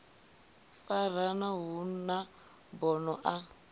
farana hu na bono a